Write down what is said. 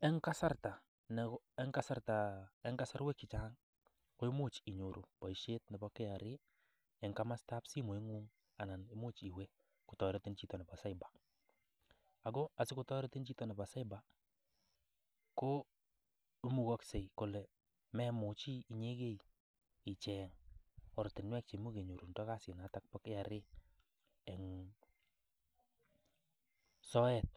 En kasarwek chechang koimuch inyoru boisiietnebo KRA en komostab simoing'ung anan imuch kotoretin chito nebo cyber ago asikotoretin chito nebo cyber koimugogse kole memuch inyegee icheng ortinwek che imuch kenyorundo kasinato bo KRA en soet